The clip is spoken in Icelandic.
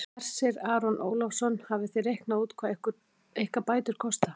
Hersir Aron Ólafsson: Hafið þið reiknað út hvað ykkar bætur kosta?